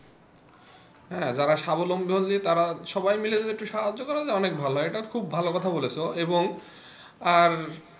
হ্যাঁ যারা সাবলম্বী তারা সবাই মিলে যদি একটু সাহায্য করার অনেক ভালো এইটা খুব ভালো কথা বলেছ এবং আর,